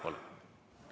Palun!